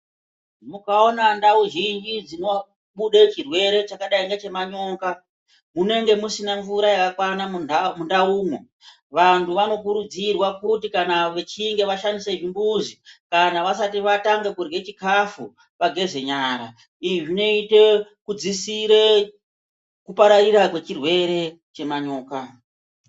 Mukaona ndau zhinji dzinobude chirwere chakadai ngechemanyoka, mwunenge musina mvura yakakwana mundaumwo. Vanhu vanokurudzirwa kuti kana vechinge vashandise zvimbuzi kana vasati vatange kurye chikafu, vageze nyara. Izvi zvinoite kudzisire kupararira kwechirwere chemanyoka.